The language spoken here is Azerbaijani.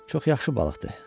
Çox yaxşı balıqdır.